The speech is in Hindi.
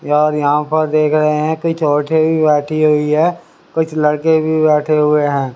यार यहां पर देख रहे है कि बैठी हुई है कुछ लड़के भी बैठे हुए है।